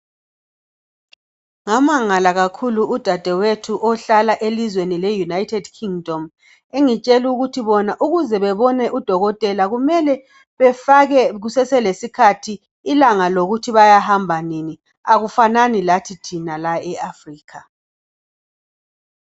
ngamangala kakhulu udadwethu ohlala elizweni le United Kingdom engitshela ukuthi bona ukuze bebone udokotela kumele befake kusese lesikhathi ilanga lokuthi bayahamba nini akufanani lathi thina la e Africa